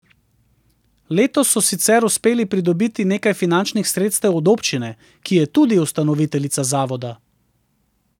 Letos so sicer uspeli pridobiti nekaj finančnih sredstev od občine, ki je tudi ustanoviteljica zavoda.